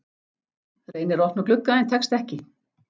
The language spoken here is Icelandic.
Reynir að opna glugga en tekst ekki.